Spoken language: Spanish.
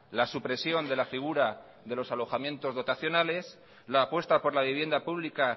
la supresión de la figura de los alojamientos dotacionales la apuesta por la vivienda pública